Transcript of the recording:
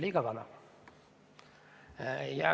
Liiga vana.